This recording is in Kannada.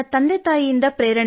ನನ್ನ ತಂದೆ ಸರ್ಕಾರಿ ಉದ್ಯೋಗಿ ಸರ್